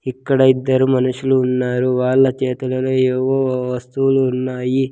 ఇక్కడ ఇద్దరు మనుషులు ఉన్నారు వాళ్ళ చేతులలో ఏవో వస్తువులు ఉన్నాయి.